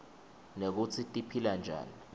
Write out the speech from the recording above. nekutsi tiphila njani